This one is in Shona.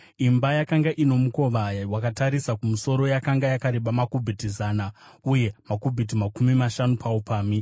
Imba yakanga ino mukova wakatarisa kumusoro yakanga yakareba makubhiti zana uye makubhiti makumi mashanu paupamhi.